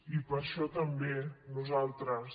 i per això també nosaltres